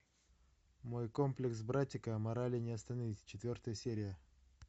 мой комплекс братика морали не остановить четвертая серия